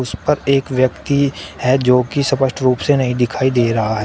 उस पर एक व्यक्ति है जो की स्पष्ट रूप से नहीं दिखाई दे रहा है।